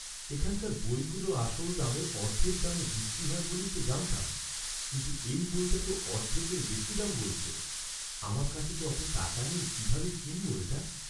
এখানকার বইগুলো আসল দামের অর্ধেক দামে বিক্রি হয় বলেই তো জানতাম, কিন্তু এই বইটা তো অর্ধেকের বেশি দাম বলছে। আমার কাছে তো অত টাকা নেই, কিভাবে কিনব এটা?